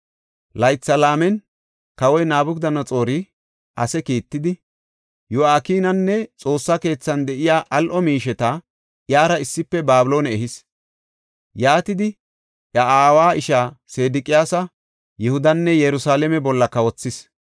Laytha laamen, kawoy Nabukadanaxoori ase kiittidi, Yo7akinanne Xoossa keethan de7iya al7o miisheta iyara issife Babiloone ehis. Yaatidi iya aawa ishaa Sedeqiyaasa Yihudanne Yerusalaame bolla kawothis.